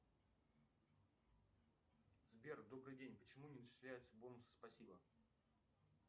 сбер добрый день почему не начисляются бонусы спасибо